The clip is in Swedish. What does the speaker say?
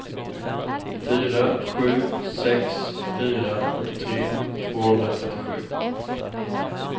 fyra sju sex fyra fyrtiotre tvåhundratrettiosju